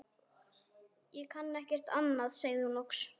Ég kann ekkert annað sagði hún loks.